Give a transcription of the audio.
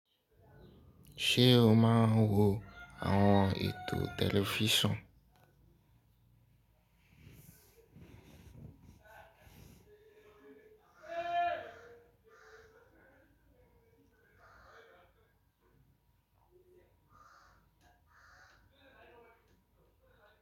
Ṣé o máa ń wo àwọn ètò tẹlifísàn?